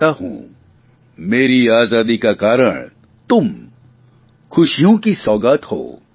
मेरी आजादी का कारण तुम खुशियो की सौगात हो